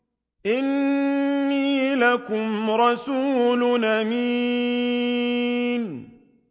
إِنِّي لَكُمْ رَسُولٌ أَمِينٌ